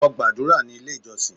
Lọ gàdúrà ní ilé ìjọsìn!